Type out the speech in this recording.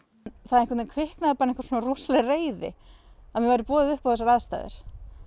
það kviknaði rosaleg reiði að mér væri boðið upp á þessar aðstæður